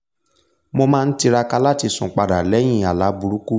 mo máa n tiraka láti sùn padà lẹ́yìn àlá burúkú